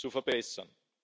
zu verbessern.